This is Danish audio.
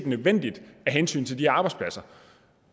nødvendigt af hensyn til de arbejdspladser